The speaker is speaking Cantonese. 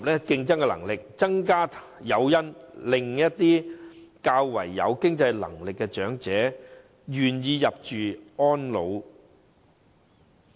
另一方面，當局可增加誘因，讓一些較有經濟能力的長者願意入住私營院舍。